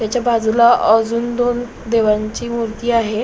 त्याच्या बाजूला अजून दोन देवांची मूर्ती आहे.